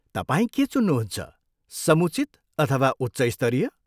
तपाईँ के चुन्नुहुन्छ, समुचित अथवा उच्च स्तरीय?